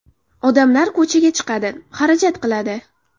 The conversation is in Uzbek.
Odamlar ko‘chaga chiqadi, xarajat qiladi.